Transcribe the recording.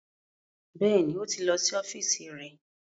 Bẹ́ẹ̀ni, ó ti lọ sí ọ́fíìsì rẹ̀